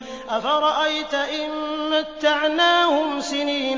أَفَرَأَيْتَ إِن مَّتَّعْنَاهُمْ سِنِينَ